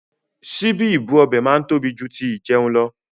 Síbí ibú ọbẹ̀ máa ń tóbi jù tí ìjẹun lọ.